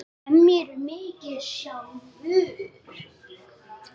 Semurðu mikið sjálfur?